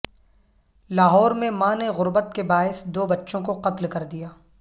لاہور میں ماں نے غربت کے باعث دو بچوں کو قتل کردیا